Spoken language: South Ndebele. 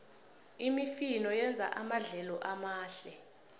imifino yenza amadlelo amahle